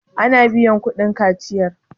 ana biyar kudin kaciyar?